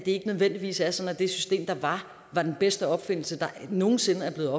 ikke nødvendigvis er sådan at det system der var var den bedste opfindelse der nogen sinde er